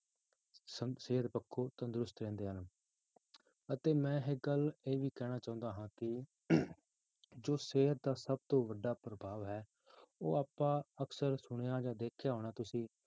ਸ~ ਸਿਹਤ ਪੱਖੋਂ ਤੰਦਰੁਸਤ ਰਹਿੰਦੇ ਹਨ ਅਤੇ ਮੈਂ ਇੱਕ ਗੱਲ ਇਹ ਵੀ ਕਹਿਣਾ ਚਾਹੁੰਦਾ ਹਾਂ ਕਿ ਜੋ ਸਿਹਤ ਦਾ ਸਭ ਤੋਂ ਵੱਡਾ ਪ੍ਰਭਾਵ ਹੈ ਉਹ ਆਪਾਂ ਅਕਸਰ ਸੁਣਿਆ ਜਾਂ ਦੇਖਿਆ ਹੋਣਾ ਤੁਸੀਂ